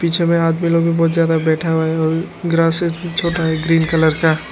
पीछे में आदमी लोग भी बहुत ज्यादा बैठा हुआ है और ग्रासेस भी छोटा है ग्रीन कलर का।